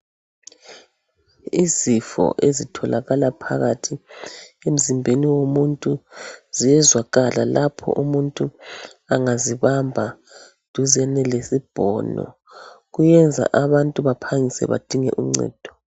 Izifo ezitholakala phakathi emzimbeni womuntu ziyezwakala lapho umuntu angazibamba duzane lesibhono, kuyenza abantu baphangise badinge uncedo.